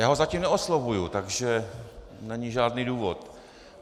Já ho zatím neoslovuji, takže není žádný důvod.